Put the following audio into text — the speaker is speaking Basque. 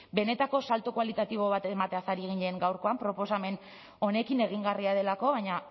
benetako salto kualitatibo bat emateaz ari ginen gaurkoan proposamen honekin egingarria delako baina